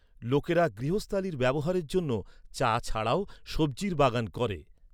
লোকেরা গৃহস্থালির ব্যবহারের জন্য, চা ছাড়াও, সবজির বাগান করে।